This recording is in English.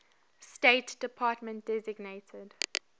state department designated